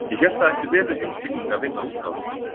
Ég hélt það ætti vel við heimspekinga að vinna að útgáfumálum.